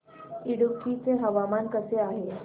इडुक्की चे हवामान कसे आहे